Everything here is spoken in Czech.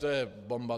To je bomba!